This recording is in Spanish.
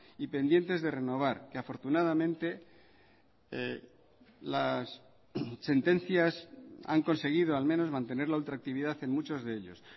y pendientes de renovar que afortunadamente las sentencias han conseguido al menos mantener la ultraactividad en muchos de ellos